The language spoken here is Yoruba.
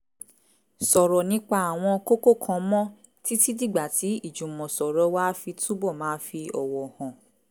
sọ̀rọ̀ nípa àwọn kókó kan mọ́ títí dìgbà tí ìjùmọ̀sọ̀rọ̀ wa á fi túbọ̀ máa fi ọ̀wọ̀ hàn